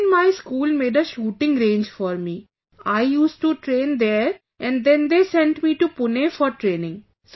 Then my school made a shooting range for me...I used to train there and then they sent me to Pune for training